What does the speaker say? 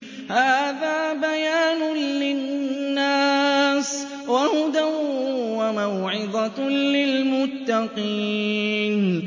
هَٰذَا بَيَانٌ لِّلنَّاسِ وَهُدًى وَمَوْعِظَةٌ لِّلْمُتَّقِينَ